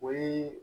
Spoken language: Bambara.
O ye